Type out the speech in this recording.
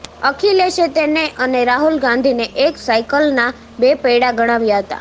અખિલેશે તેને અને રાહુલ ગાંધીને એક સાઇકલનાં બે પૈડાં ગણાવ્યા હતા